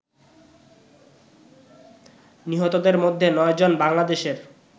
নিহতদের মধ্যে নয়জন বাংলাদেশের